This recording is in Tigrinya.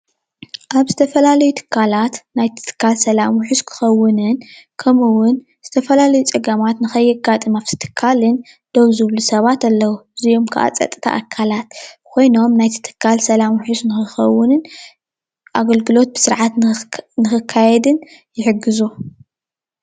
አብ ዝተፈላለዩ ትካላት ናይ ትካል ሰላም ውሕስ ንክከውንን ከምኡ እውን ዝተፈላለዩ ፀገማት ንከየጋጥም አብቲ ትካልን ደው ዝብሉ ሰባት አለዉ እዝኦም ካዓ ፀፅታ አካላት ኮይኖም ናይቲ ትካል ሰላም ውሕስ ንክኸውን አገልግሎት ብስርዓት ንክከይድን ይሕግዙ፡፡